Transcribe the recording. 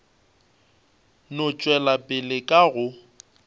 no tšwela pele ka go